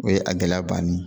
O ye a gɛlɛya bannen ye